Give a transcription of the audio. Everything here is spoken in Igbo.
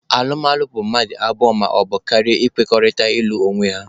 Alụmalụ bụ mmadụ abụọ maọbụ karịa ịkwekọrịta ịlụ onwe ha.